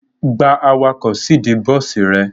Gba awakọ̀ síìdí bọ́sì ẹ!